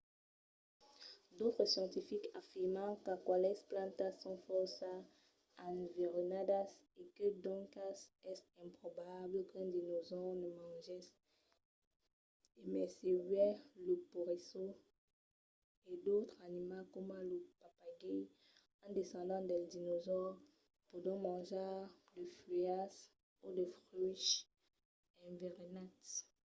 d'autres scientifics afirman qu'aquelas plantas son fòrça enverenadas e que doncas es improbable qu'un dinosaure ne mangèsse e mai se uèi lo peresós e d'autres animals coma lo papagai un descendent del dinosaures pòdon manjar de fuèlhas o de fruches enverenats